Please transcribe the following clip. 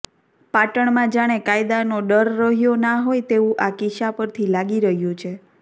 પાટણમાં જાણે કાયદાનો ડર રહ્યો ના હોય તેવું આ કિસ્સા પરથી લાગી રહ્યું છે